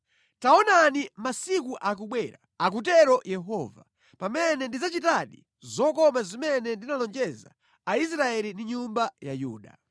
“ ‘Taonani masiku akubwera,’ akutero Yehova, ‘pamene ndidzachitadi zokoma zimene ndinalonjeza Aisraeli ndi nyumba ya Yuda.